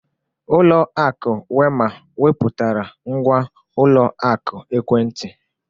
Ulọ akụ Wema wepụtara ngwa ụlọ akụ ekwentị.